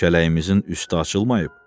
"Kələyimizin üstü açılmayıb?"